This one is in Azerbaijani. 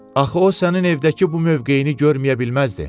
Axı o sənin evdəki bu mövqeyini görməyə bilməzdi.